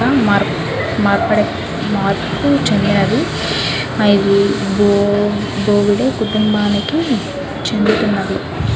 మార్పు చెందుతున్నది. ఇది బో బొగడె కుటుంబానికి చెందినది.